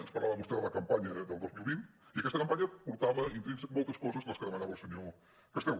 ens parlava vostè de la campanya del dos mil vint i aquesta campanya portava intrínsecament moltes coses de les que demanava el senyor castel